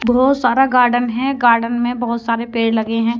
बहोत सारा गार्डन है गार्डन में बहोत सारे पेड़ लगे हैं।